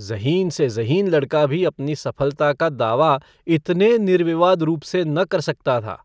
ज़हीन से ज़हीन लड़का भी अपनी सफलता का दावा इतने निर्विवाद रूप से न कर सकता था।